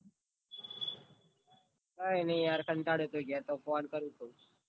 કાઈ ની યાર પછી ઘેર તો phone કરું કે.